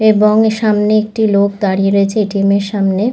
এবং সামনে একটি লোক দাঁড়িয়ে রয়েছে এ.টি.এম. সামনে।